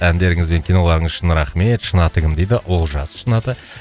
әндеріңіз бен киноларыңыз үшін рахмет шын аты кім дейді олжас шын аты